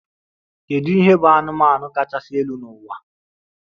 Kedu ihe bụ anụmanụ kachasị elu n'ụwa?